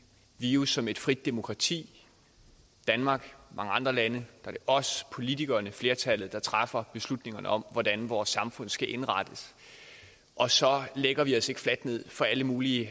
det jo som et frit demokrati danmark og mange andre lande er os politikerne flertallet der træffer beslutningerne om hvordan vores samfund skal indrettes og så lægger vi os ikke fladt ned for alle mulige